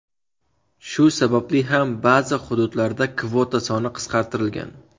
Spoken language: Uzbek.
Shu sababli ham ba’zi hududlarda kvota soni qisqartirilgan.